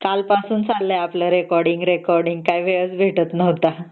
कालपासून चाललंय recording recording काय वेळच भेटत नव्हता